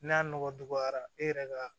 N'a nɔgɔ dɔgɔyara e yɛrɛ ka